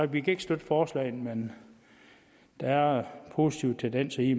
vi ikke støtte forslagene men der er positive tendenser i